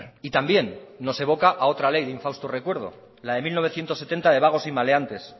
y también nos evoca a otra ley de un fausto recuerdo la de mil novecientos setenta de vagos y maleantes